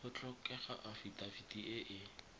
go tlhokega afitafiti e e